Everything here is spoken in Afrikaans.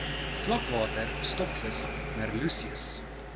vlakwater stokvis merluccius